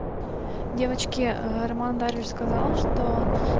девочки роман даже сказал что